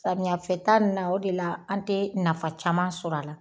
Samiya fɛ ta nin la o de la an tɛ nafa caman sɔrɔ a la